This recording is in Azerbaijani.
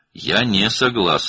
Mən razı deyiləm.